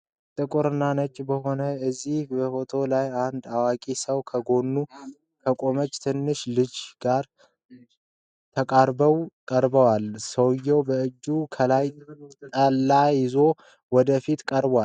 ጥቁርና ነጭ በሆነ በዚህ ፎቶ ላይ አንድ አዋቂ ሰው ከጎኑ ከቆመች ትንሽ ልጅ ጋር ተቃርበው ቀርበዋል። ሰውየው በእጁ ከላይ ጠላ ይዞ ወደ ፊት ቀርቧል